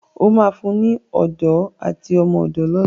O má fún ní Odó àti ọmọ odó lọla!